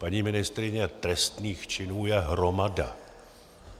Paní ministryně, trestných činů je hromada.